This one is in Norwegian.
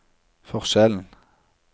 forskjellen